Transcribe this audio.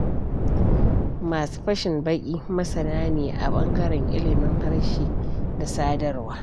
Masu fashin baƙi masana ne a ɓangaren ilimin harshe da sadarwa.